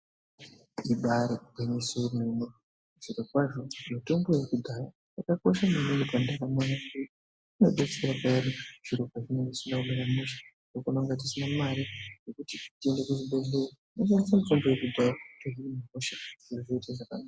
Ibayiri gwinyiso yemene zviro kwazvo mitombo yekudhaya yakakosha maningi mundaramo yedu. Inodetsera kana zviro pazvinenge zvisina kumira mushe patinonga tisina mare yokuti tiende kuzvibhedhleya tinoshandise mitombo yekudhaya kuti zviro zviite zvakanaka.